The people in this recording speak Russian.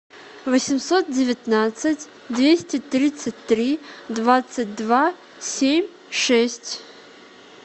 восемьсот девятнадцать двести тридцать три двадцать два семь шесть